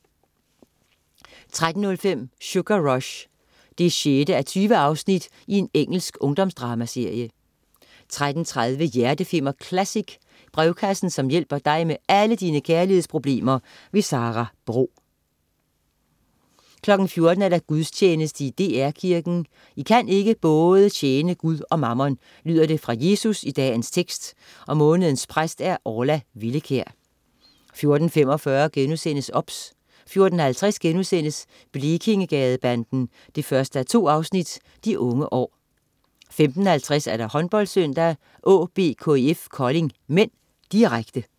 13.05 Sugar Rush 6:20. Engelsk ungdomsdramaserie 13.30 Hjerteflimmer Classic. Brevkassen som hjælper dig med alle dine kærlighedsproblemer. Sara Bro 14.00 Gudstjeneste i DR Kirken. I kan ikke tjene både Gud og mammon, lyder det fra Jesus i dagens tekst. Månedens præst: Orla Villekjær 14.45 OBS* 14.50 Blekingegadebanden 1:2. De unge år* 15.50 HåndboldSøndag: AaB-KIF Kolding (m), direkte